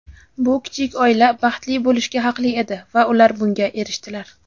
Bu kichik oila baxtli bo‘lishga haqli edi va ular bunga erishdilar.